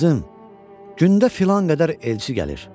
Qızım, gündə filan qədər elçi gəlir.